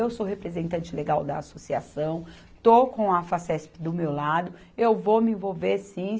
Eu sou representante legal da associação, estou com a Facesp do meu lado, eu vou me envolver sim.